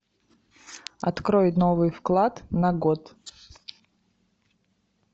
открой новый вклад на год